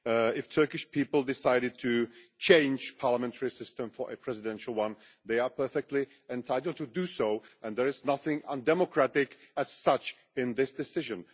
If the Turkish people decided to change their parliamentary system to a presidential one they are perfectly entitled to do so, and there is nothing undemocratic as such in this decision.